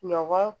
Ɲɔgɔn